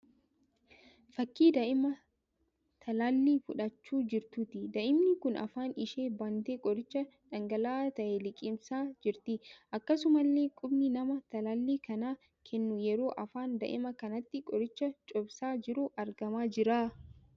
Fakkii daa'ima talaallii fudhachaa jirtuuti. Daa'imni kun afaan ishee bantee qoricha dhangala'aa ta'ee liqimsaa jirti. Akkasumallee qubni nama talaallii kana keennuu yeroo afaan daa'ima kanaatti qorichaa cobsaa jiru argamaa jira.